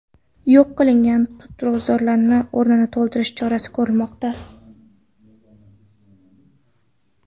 Yo‘q qilingan tutzorlar o‘rnini to‘ldirish chorasi ko‘rilmoqda.